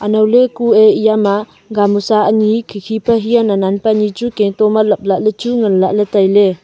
anaw ley kue ema gamusa khi khi pe hia nan nan pe kaitua ma lap lah ley tai ley